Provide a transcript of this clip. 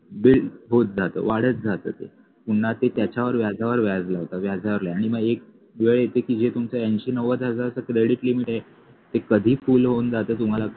build होत जात वाढत जात ते पुन्हा ते त्याच्यावर व्याजावर व्याज लावतात व्याजावर व्याज आणि मग एक वेळ येते की हे तुमचं ऐंशी नव्वद हजारच credit limit आहे ते कधी full होऊन जात हे तुम्हाला